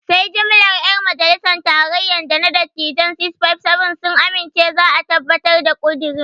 Sai jimlar 'yan majalisar tarayya da na dattijain 657 sun amince za a tabbatar da ƙudirin.